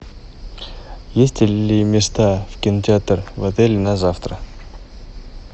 есть ли места в кинотеатр в отеле на завтра